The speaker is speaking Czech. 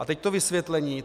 A teď to vysvětlení.